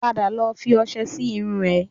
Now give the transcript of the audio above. Padà lọ fi ọṣẹ sí irun rẹ